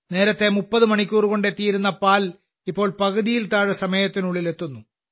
നേരത്തെ 30 മണിക്കൂർകൊണ്ട് എത്തിയിരുന്ന പാൽ ഇപ്പോൾ പകുതിയിൽ താഴെ സമയത്തിനുള്ളിൽ എത്തുന്നു